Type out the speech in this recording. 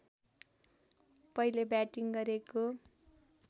पहिले व्याटिङ गरेको